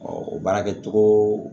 baarakɛcogo